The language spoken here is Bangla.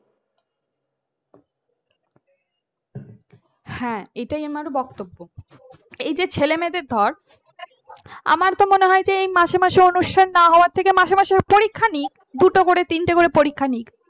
হ্যাঁ এটাই আমার বক্তব্য এই যে ছেলে মেয়েদের ধর আমার তো মনে হয় এই মাসে মাসে অনুষ্ঠান না হওয়ার থেকে মাসে মাসে পরীক্ষা নিক দুটো করে তিনটা করে পরীক্ষা নিক